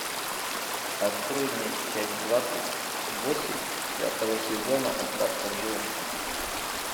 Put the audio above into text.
открой мне часть двадцать восемь пятого сезона остаться в живых